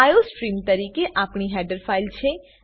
iostream તરીકે આ આપણી હેડર ફાઈલ છે